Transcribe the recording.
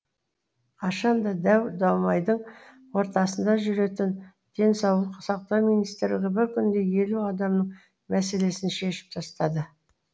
қашан да дау дамайдың ортасында жүретін денсаулық сақтау министрлігі бір күнде елу адамның мәселесін шешіп тастады